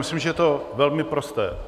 Myslím, že to je velmi prosté.